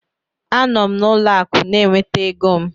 A nọ m n'ụlọ akụ na-enweta ego m